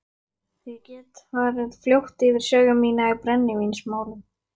Ég get farið fljótt yfir sögu mína í brennivínsmálum.